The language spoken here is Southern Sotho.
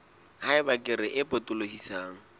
ha eba kere e potolohisang